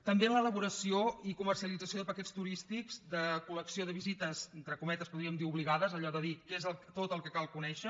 també en l’elaboració i comercialització de paquets turístics de col·lecció de visites entre cometes podríem dir obligades allò de dir què és tot el que cal conèixer